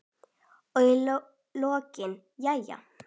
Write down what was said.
Og í lokin: Jæja.